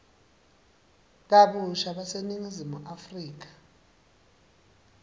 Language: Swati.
kabusha baseningizimu afrika